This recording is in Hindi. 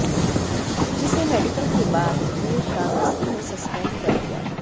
जिसे मेडिकल के बाद देर शाम एसपी ने सस्पेंड कर दिया